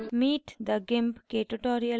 meet the gimp के tutorial में आपका स्वागत है